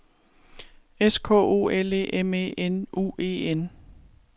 S K O L E M E N U E N